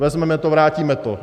Vezmeme to, vrátíme to.